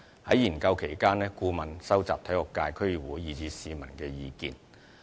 在研究期間，顧問公司會收集體育界、區議會，以至市民的意見。